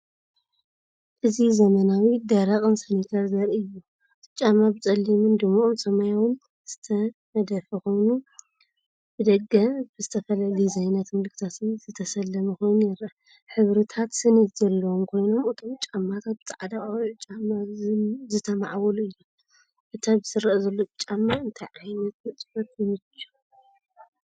እዚ ዘመናዊ፡ደረቕን ስኒከር ዘርኢ እዩ። እቲ ጫማ ብጸሊምን ድሙቕ ሰማያውን ዝተነድፈ ኮይኑ፡ብደገ ብዝተፈላለየ ዲዛይናትን ምልክታትን ዝተሰለመ ኮይኑ ይረአ። ሕብርታት ስኒት ዘለዎም ኮይኖም እቶም ጫማታት ብጻዕዳ ቆቢዕ ጫማ ዝተማዕበሉ እዮም። እቲ ኣብዚ ዝረአ ዘሎ ጫማ ንእንታይ ዓይነት ንጥፈት ይምችእ?